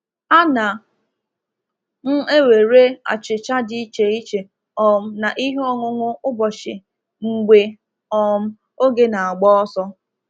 Ana m ewere achicha di iche iche um na ihe ọṅụṅụ ụbọchị mgbe um oge na-agba ọsọ.